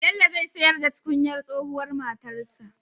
Bello zai siyar da tukunyar tsohuwar matarsa